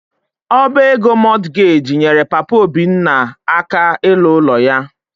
Ọba ego Mortgage nyere Papa Obinna aka ịlụ ụlọ ya.